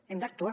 hem d’actuar